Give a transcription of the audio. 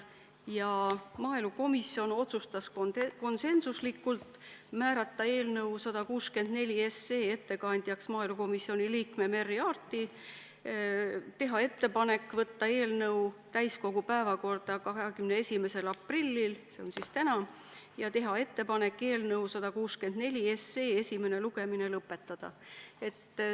Maaelukomisjon otsustas konsensusega määrata eelnõu 164 ettekandjaks komisjoni liikme Merry Aarti, teha ettepaneku võtta eelnõu täiskogu päevakorda 21. aprilliks ja eelnõu esimene lugemine lõpetada.